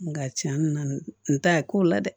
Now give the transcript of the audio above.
Nka tiɲɛ nana n ta ko la dɛ